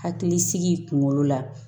Hakili sigi kunkolo la